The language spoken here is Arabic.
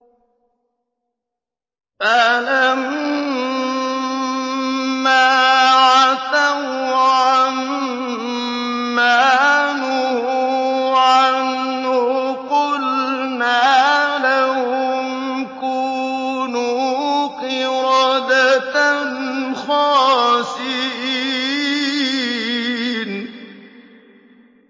فَلَمَّا عَتَوْا عَن مَّا نُهُوا عَنْهُ قُلْنَا لَهُمْ كُونُوا قِرَدَةً خَاسِئِينَ